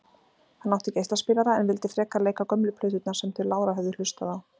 Hann átti geislaspilara en vildi frekar leika gömlu plöturnar sem þau lára höfðu hlustað á.